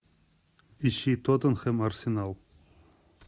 ищи тоттенхэм арсенал